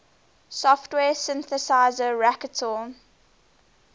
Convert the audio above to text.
software synthesizer reaktor